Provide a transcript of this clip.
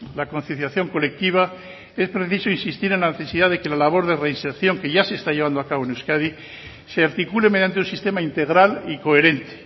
la conciliación colectiva es preciso insistir en la necesidad de que la labor de reinserción que ya se está llevando a cabo en euskadi se articule mediante un sistema integral y coherente